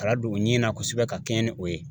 Kala don u ɲin na kosɛbɛ ka kɛɲɛ ni o ye